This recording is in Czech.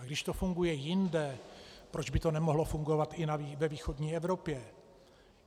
A když to funguje jinde, proč by to nemohlo fungovat i ve východní Evropě?